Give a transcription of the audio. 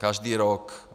Každý rok.